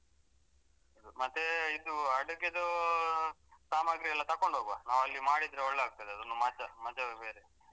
ಮತ್ತೆ ಇದು ಅಡುಗೆದು ಸಾಮಗ್ರಿ ಎಲ್ಲ ತಕೊಂಡ್ ಹೋಗುವ ನಾವು ಅಲ್ಲಿ ಮಾಡಿದ್ರೆ ಒಳ್ಳೆ ಆಗ್ತದೆ ಅದೊಂದು ಮಜ ಮಜವೆ ಬೇರೆ.